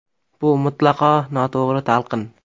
Bu mutlaqo noto‘g‘ri talqin.